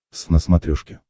твз на смотрешке